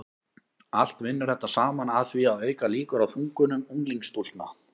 allt vinnur þetta saman að því að auka líkur á þungunum unglingsstúlkna